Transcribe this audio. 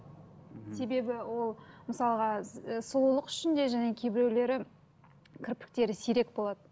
себебі ол мысалға і сұлулық үшін де және кейбіреулері кірпіктері сирек болады